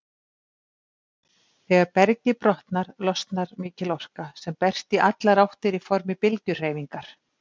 Þegar bergið brotnar, losnar mikil orka sem berst í allar áttir í formi bylgjuhreyfingar.